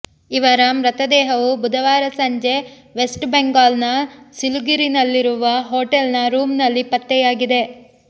ಇವರ ಮೃತದೇಹವು ಬುಧವಾರ ಸಂಜೆ ವೆಸ್ಟ್ ಬೆಂಗಾಲ್ ನ ಸಿಲಿಗುರಿನಲ್ಲಿರುವ ಹೊಟೇಲ್ ನ ರೂಮ್ ನಲ್ಲಿ ಪತ್ತೆಯಾಗಿದೆ